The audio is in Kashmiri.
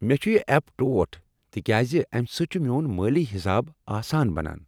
مےٚ چھ یہ ایپ ٹوٹھ تکیاز امہ سۭتۍ چھ میون مٲلی حساب آسان بنان۔